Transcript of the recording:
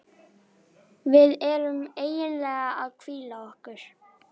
Við erum eiginlega að hvíla okkur.